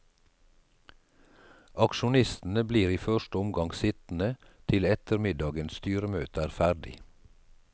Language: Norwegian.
Aksjonistene blir i første omgang sittende til ettermiddagens styremøte er ferdig.